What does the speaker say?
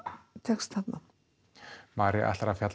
tekst þarna María